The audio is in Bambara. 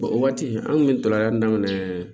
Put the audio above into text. o waati an kun bɛ tɔlɔnyan daminɛ